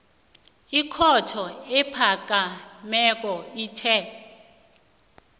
ikhotho ephakemeko ithe